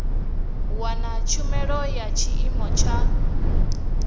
wana tshumelo ya tshiimo tsha